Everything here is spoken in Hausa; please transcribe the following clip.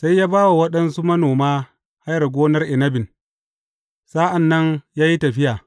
Sai ya ba wa waɗansu manoma hayar gonar inabin, sa’an nan ya yi tafiya.